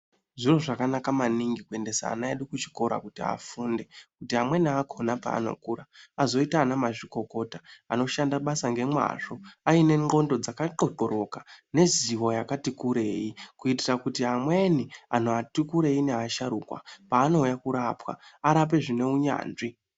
Zviro zvakanaka maningi kuendesa ana vedu kuchikora kuti afunde kuti amweni akona paanokura azoita ana mazvikokota anoshanda basa nemwazvo aine nxondo dzakatxokoroka ngeruzivo rakati kurei kuitira kuti amweni ati kurei nevasharukwa kwanouya kurapwa arapwe zvine unyanzvi.